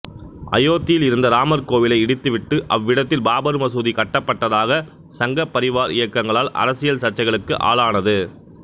அயோத்தியில் இருந்த ராமர் கோவிலை இடித்துவிட்டு அவ்விடத்தில் பாபர் மசூதி கட்டப்பட்டதாக சங்கப் பரிவார் இயக்கங்களால் அரசியல் சர்ச்சைகளுக்கு ஆளானது